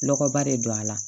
Nɔgɔba de don a la